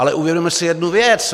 Ale uvědomme si jednu věc.